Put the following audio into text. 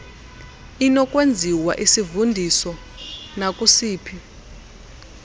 inokwenziwa isivundiso nakusiphi